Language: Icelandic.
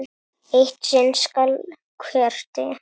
Eitt sinn skal hver deyja!